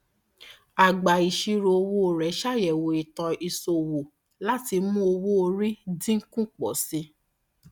agbàìṣirò owó rẹ ṣàyẹwò ìtàn ìṣòwò láti mú owóorí dín kù pọ sí i